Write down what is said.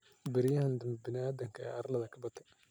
Beriyahan dambe biniadamka arladha kabate.